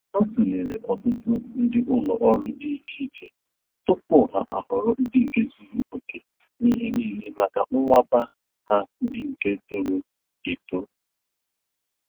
Ha tulere ọtụtụ ndị ụlọ ọrụ dị iche iche tupu ha ahọrọ ndị nke zuru okè n'ihe niile maka nwamba ha ndị nke toro eto